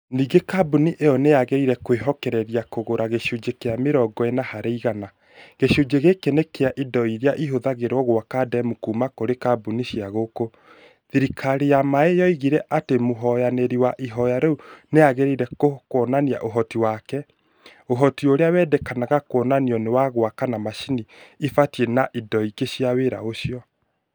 Ningĩ kambuni ĩyo nĩ yaagire kwĩhokereria kũgũra gĩcunjĩ kĩa mĩrongo ĩna harĩ igana. Gĩcunjĩ gĩkĩ nĩ kĩa indo iria ihũthagĩrwo gwaka demu kuuma kũrĩ kambuni cia gũkũ. Thirikari ya maĩ yoigire atĩ mũhoyanĩri wa ihoya rĩu nĩ aagire kuonania ũhoti wake. ũhoti urĩa wendekanaga kuonanio nĩ wa gwaka na macini ibatie na indo ingĩ cia wĩra ũcio.